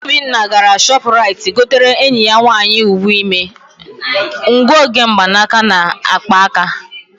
Obinna gara Shọpụraịt gotere enyi ya nwaanyị uwe ime, ngụoge mgbanaka na akpa aka.